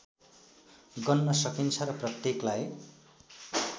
गन्न सकिन्छ र प्रत्येकलाई